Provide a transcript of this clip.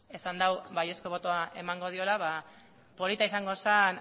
esan dau baiezko botoa emango diola ba polita izango zen